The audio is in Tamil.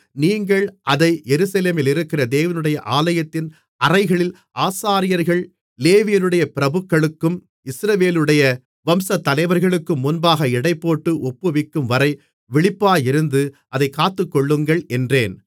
நீங்கள் அதை எருசலேமிலிருக்கிற தேவனுடைய ஆலயத்தின் அறைகளில் ஆசாரியர்கள் லேவியருடைய பிரபுக்களுக்கும் இஸ்ரவேலுடைய வம்சத்தலைவர்களுக்கும் முன்பாக எடைபோட்டு ஒப்புவிக்கும்வரை விழிப்பாயிருந்து அதைக் காத்துக்கொள்ளுங்கள் என்றேன்